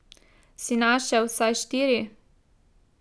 Si našel vsaj štiri?